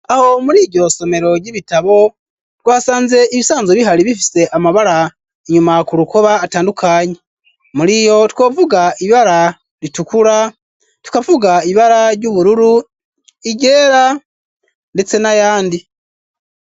Aho muri iryo somero gy'ibitabo twasanze ibisanzo bihari bifise amabara inyuma ku rukoba atandukanye muri iyo tukavuga ibara ritukura tukafuga ibara ry'ubururu igera ndetse n'ayandi.